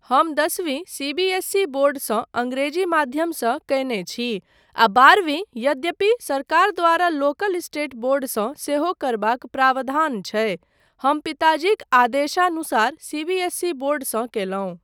हम दसवीं CBSE board सँ अङ्ग्रेजी माध्यमसँ कयने छी आ बारहवीं यद्यपि सरकार द्वारा लोकल स्टेट बोर्ड सँ सेहो करबाक प्रावधान छै, हम पिताजीक आदेशानुसार सीबीएसई बोर्ड सँ कयलहुँ।